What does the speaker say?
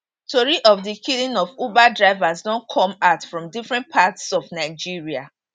tori of di killing of uber drivers don come out from different parts of nigeria